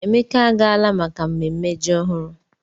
Emeka agaala maka mmemme ji ọhụrụ.